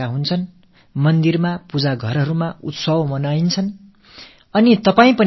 கோயில்களும் வழிபாட்டு இடங்களிலும் திருவிழாக்கள் நடைபெறவிருக்கின்றன